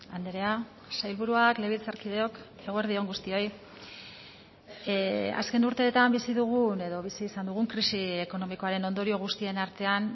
andrea sailburuak legebiltzarkideok eguerdi on guztioi azken urteetan bizi dugun edo bizi izan dugun krisi ekonomikoaren ondorio guztien artean